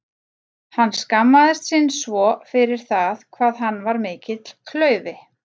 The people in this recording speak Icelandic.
Hann skammaðist sín svo fyrir það hvað hann var mikill klaufi.